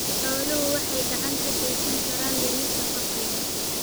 Xooluhu waxay gacan ka geysan karaan dhimista faqriga.